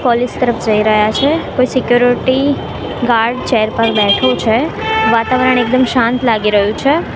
College તરફ જઇ રહ્યા છે કોઇ સિક્યુરિટી ગાર્ડ ચેર પર બેઠો છે વાતાવરણ એકદમ શાંત લાગી રહ્યુ છે.